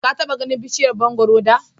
Ka taɓa ganin bishiyar mangoro da?